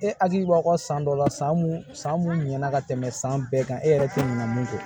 E hakili b'a kɔ san dɔ la san mun san mun ɲana ka tɛmɛ san bɛɛ kan e yɛrɛ tɛ ɲina mun kɔ